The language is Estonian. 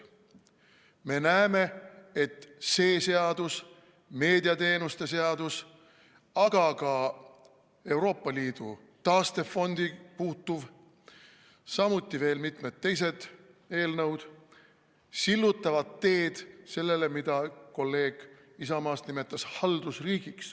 Me näeme, et see seadus, meediateenuste seadus, aga ka Euroopa Liidu taastefondi puutuv, samuti veel mitmed teised eelnõud sillutavad teed sellele, mida kolleeg Isamaast nimetas haldusriigiks.